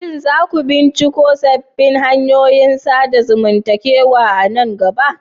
Shin za ku binciko sabbin hanyoyin sadarwar zamantakewa a nan gaba?